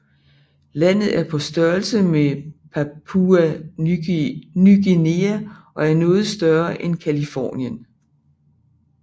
Landet er på størrelse med Papua Ny Guinea og er noget større end Californien